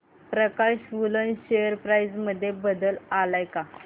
प्रकाश woollen share price मध्ये बदल आलाय का